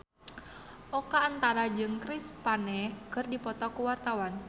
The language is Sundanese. Oka Antara jeung Chris Pane keur dipoto ku wartawan